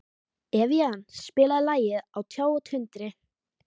Evían, spilaðu lagið „Á tjá og tundri“.